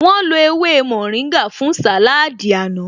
Wọ́n lo ewé mórìngà fún sàláádì àná